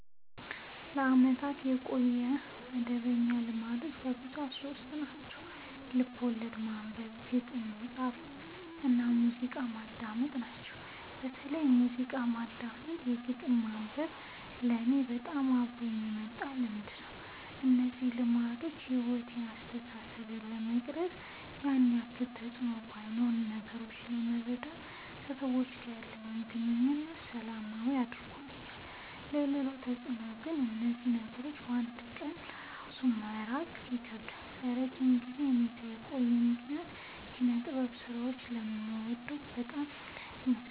ለአመታት ያቆየሁት መደበኛ ልማዶች በብዛት ሶስት ናቸው። ልቦለድ ማንበብ፣ ግጥም መፃፍ እና ሙዚቃ ማዳመጥ ናቸው። በተለይ ሙዚቃ ማዳመጥ እና ግጥም ማንበብ ለኔ በጣም አብሮኝ የመጣ ልምድ ነው። እነዚህ ልማዶች ሕይወቴን ወይም አስተሳሰቤን ለመቅረጽ ያን ያክል ተፅዕኖ ባኖረውም ነገሮችን ለመረዳት እና ከሰዎች ጋር ያለኝን ግንኙነት ሰላማዊ አድርገውልኛል ሌላው ተፅዕኖ ግን ከእነዚህ ነገሮች ለ አንድ ቀን እራሱ መራቅ ይከብደኛል። ለረጅም ጊዜ ከእኔ ጋር የቆዩበት ምክንያት የኪነጥበብ ስራዎችን ስለምወድ በዛ ምክንያት ይመስለኛል።